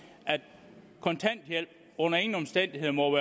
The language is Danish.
at kontanthjælp under ingen omstændigheder må